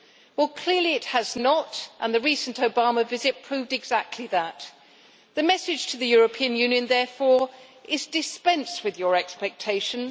Well, clearly it has not done so, and the recent Obama visit proved exactly that. The message to the European Union therefore is dispense with your expectations